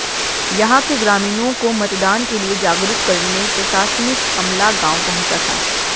यहां के ग्रामीणों को मतदान के लिए जागरूक करने प्रशासनिक अमला गांव पहुंचा था